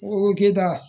K'e da